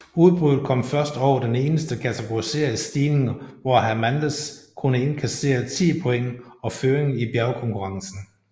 Udbruddet kom først over den eneste kategoriserede stigning hvor Hernández kunne indkassere 10 point og føringen i bjergkonkurrencen